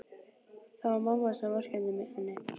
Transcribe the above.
Það var mamma sem vorkenndi henni.